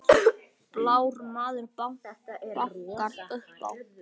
Blár maður bankar upp á